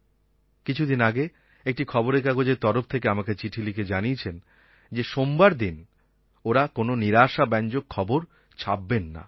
কিছুদিন আগে একটি খবরের কাগজের তরফ থেকে আমাকে চিঠি লিখে জানিয়েছেন যে সোমবার দিন ওরা কোনো নিরাশাব্যঞ্জক খবর ছাপবেন না